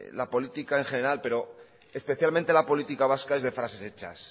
la política en general pero especialmente la política vasca es de frases hechas